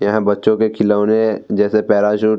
यह बच्चो के खिलौने जैसे पैराशूट --